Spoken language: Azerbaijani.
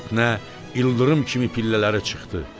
Fitnə ildırım kimi pillələri çıxdı.